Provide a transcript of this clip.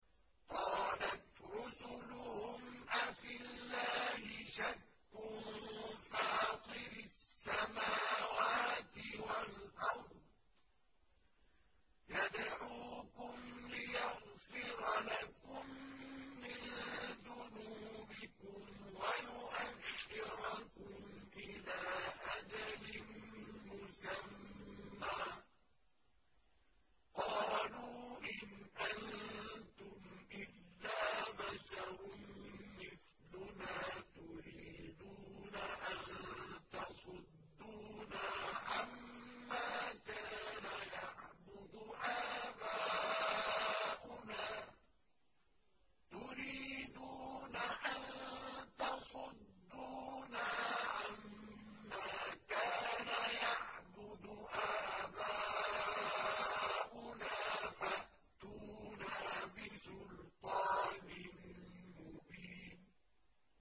۞ قَالَتْ رُسُلُهُمْ أَفِي اللَّهِ شَكٌّ فَاطِرِ السَّمَاوَاتِ وَالْأَرْضِ ۖ يَدْعُوكُمْ لِيَغْفِرَ لَكُم مِّن ذُنُوبِكُمْ وَيُؤَخِّرَكُمْ إِلَىٰ أَجَلٍ مُّسَمًّى ۚ قَالُوا إِنْ أَنتُمْ إِلَّا بَشَرٌ مِّثْلُنَا تُرِيدُونَ أَن تَصُدُّونَا عَمَّا كَانَ يَعْبُدُ آبَاؤُنَا فَأْتُونَا بِسُلْطَانٍ مُّبِينٍ